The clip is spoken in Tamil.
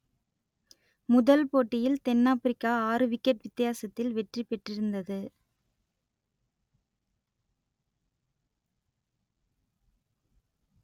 முதல் போட்டியில் தென் ஆப்ரிக்கா ஆறு விக்கெட் வித்தியாசத்தில் வெற்றி பெற்றிருந்தது